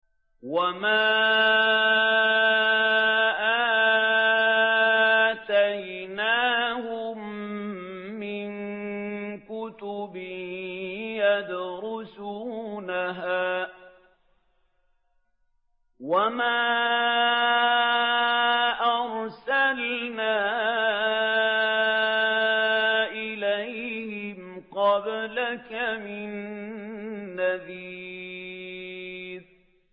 وَمَا آتَيْنَاهُم مِّن كُتُبٍ يَدْرُسُونَهَا ۖ وَمَا أَرْسَلْنَا إِلَيْهِمْ قَبْلَكَ مِن نَّذِيرٍ